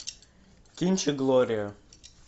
кинчик глория